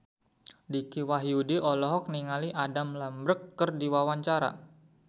Dicky Wahyudi olohok ningali Adam Lambert keur diwawancara